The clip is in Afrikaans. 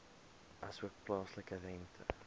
asook plaaslike rente